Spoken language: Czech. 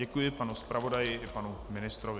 Děkuji panu zpravodaji i panu ministrovi.